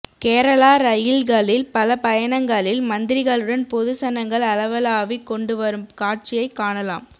கேரளா ரயில்களில் பல பயணங்களில் மந்த்ரிகளுடன் பொது சனங்கள் அளவளாவிக் கொண்டுவரும் காட்சியை காணலாம்